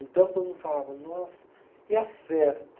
Então, todo mundo falava, nossa, e a festa?